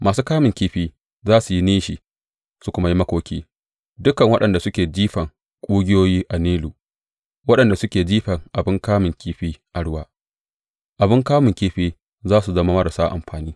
Masu kamun kifi za su yi nishi su kuma yi makoki, dukan waɗanda suke jefan ƙugiyoyi a Nilu; waɗanda suke jefan abin kamun kifi a ruwa abin kamun kifin za su zama marasa amfani.